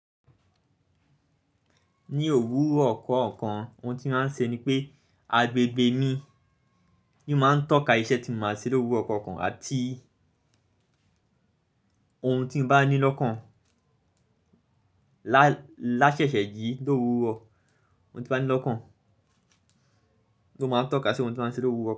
Ní òwúrọ̀ kookan ohun tí màá ń ṣe ni pé agbegbe mi n máa ń tọ́ka iṣẹ́ tí mo máa ṣe l'òwúrọ̀ kookan àti ohun tí n bá ní lọ́kàn lá ṣẹ ṣẹ́ jìí l'òwúrọ̀. Ohun tí mo bá ní lọ́kàn ló máa ń tọ́ka sí ohun tí n màá ṣe l'òwúrọ̀